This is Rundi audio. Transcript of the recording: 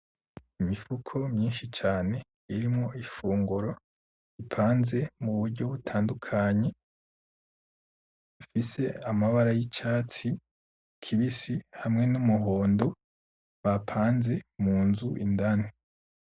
Imifuko myinshi cane irimwo ifunguro ipanze muburyo butandukanye ifise amabara yicatsi kibisi hamwe numuhondo bapanze munzu indani.